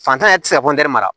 Fantanya yɛrɛ tɛ se ka mara